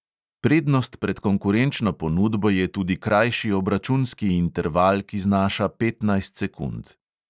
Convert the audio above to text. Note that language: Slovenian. Prednost pred konkurenčno ponudbo je tudi krajši obračunski interval, ki znaša petnajst sekund.